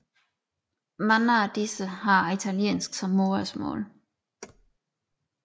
Mange af disse har italiensk som modersmål